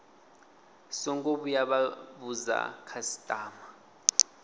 songo vhuya vha vhudza khasitama